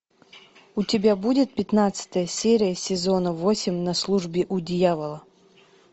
у тебя будет пятнадцатая серия сезона восемь на службе у дьявола